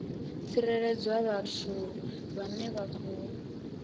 tsireledzwa vhathu vhane vha khou